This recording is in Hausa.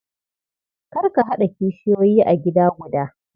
Kar ka haɗa kishiyoyi a gida guda.